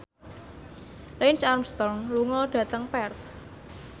Lance Armstrong lunga dhateng Perth